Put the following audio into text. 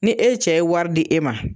Ni e cɛ ye wari di e ma